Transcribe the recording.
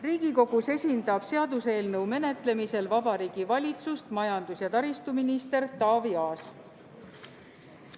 Riigikogus esindab seaduseelnõu menetlemisel Vabariigi Valitsust majandus- ja taristuminister Taavi Aas.